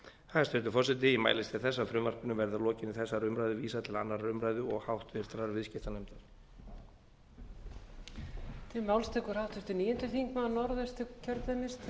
hæstvirtur forseti ég mælist til þess að frumvarpinu verði að lokinni þessari umræðu vísað til annarrar umræðu og háttvirtur viðskiptanefndar